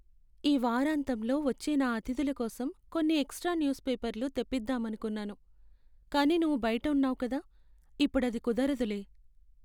ఈ వారాంతంలో వచ్చే నా అతిథుల కోసం కొన్ని ఎక్స్ట్రా న్యూస్ పేపర్లు తెప్పిదామనుకున్నాను, కానీ నువ్వు బయట ఉన్నావు కదా, ఇప్పుడది కుదరదులే.